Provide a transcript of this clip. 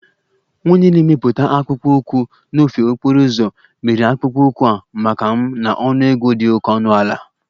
Onye na-emepụta akpụkpọ ụkwụ n'ofe okporo ụzọ mere akpụkpọ ụkwụ a maka m na ọnụego dị oke ọnụ ala